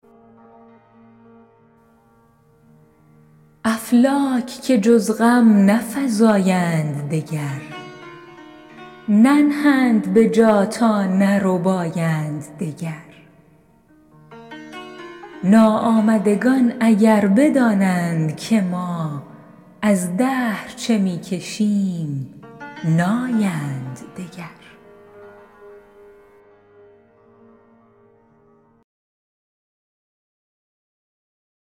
افلاک که جز غم نفزایند دگر ننهند به جا تا نربایند دگر ناآمدگان اگر بدانند که ما از دهر چه می کشیم نایند دگر